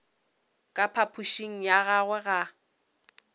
ka phapošing ya gagwe ga